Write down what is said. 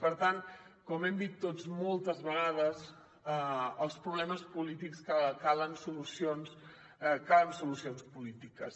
per tant com hem dit tots moltes vegades als problemes polítics calen solucions polítiques